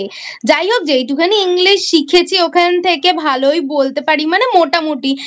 যাই হোক যেটুকুখানি English শিখেছি ওখান থেকে ভালোই বলতে পারি মানে মোটামোটি